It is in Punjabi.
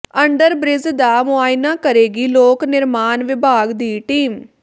ਅੰਡਰ ਬਿ੍ਜ ਦਾ ਮੁਆਇਨਾ ਕਰੇਗੀ ਲੋਕ ਨਿਰਮਾਣ ਵਿਭਾਗ ਦੀ ਟੀਮ